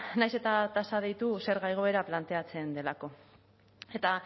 nahiz eta tasa deitu zerga igoera planteatzen delako eta